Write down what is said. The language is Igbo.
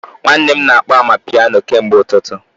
Nwanne m na-akpọ amapiano kemgbe ụtụtụ